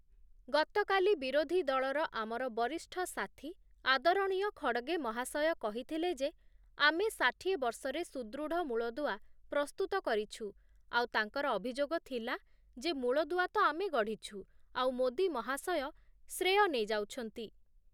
ଗତକାଲି ବିରୋଧୀ ଦଳର ଆମର ବରିଷ୍ଠ ସାଥୀ ଆଦରଣୀୟ ଖଡ଼ଗେ ମହାଶୟ କହିଥିଲେ ଯେ, ଆମେ ଷାଠିଏ ବର୍ଷରେ ସୁଦୃଢ଼ ମୂଳଦୁଆ ପ୍ରସ୍ତୁତ କରିଛୁ । ଆଉ ତାଙ୍କର ଅଭିଯୋଗ ଥିଲା ଯେ ମୂଳଦୁଆ ତ ଆମେ ଗଢ଼ିଛୁ ଆଉ, ମୋଦି ମହାଶୟ ଶ୍ରେୟ ନେଇ ଯାଉଛନ୍ତି ।